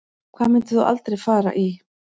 Hvað myndir þú aldrei fara í